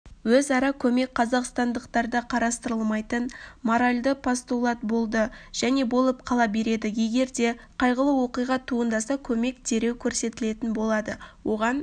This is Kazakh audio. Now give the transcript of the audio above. өзара көмек қазақстандықтарда қарастырылмайтын моралді постулат болды және болып қала береді егер де қайғылы оқиға туындаса көмек дереу көрсетілетін болады оған